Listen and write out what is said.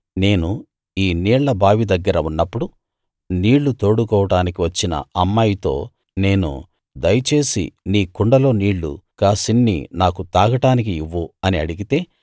నేను ఈ నీళ్ళ బావి దగ్గర ఉన్నప్పుడు నీళ్ళు తోడుకోడానికి వచ్చిన అమ్మాయితో నేను దయచేసి నీ కుండలో నీళ్ళు కాసిన్ని నాకు తాగడానికి ఇవ్వు అని అడిగితే